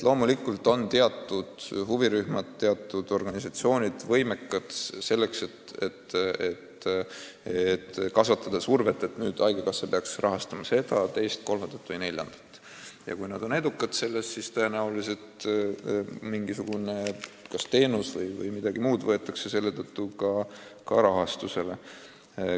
Loomulikult on teatud huvirühmad ja organisatsioonid võimelised kasvatama survet, et haigekassa rahastaks seda, teist, kolmandat või neljandat, ja kui nad on edukad, siis tõenäoliselt kas mingi teenus või midagi muud saab selle tõttu ka rahastust.